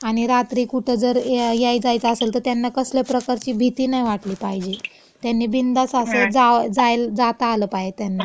आणि रात्री कुठं जर याय जायचं असल तं त्यांना कसल्या प्रकारची भीती नाय वाटली पाहिजे. त्यांनी बिनदास्त असं जा, जायल, जाता आलं पाहे त्यांना. हम्म.